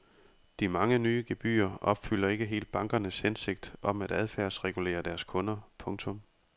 De mange nye gebyrer opfylder ikke helt bankernes hensigt om at adfærdsregulere deres kunder. punktum